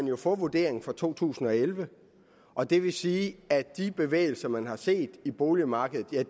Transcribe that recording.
vil få vurderingen for to tusind og elleve og det vil sige at de bevægelser man har set i boligmarkedet jo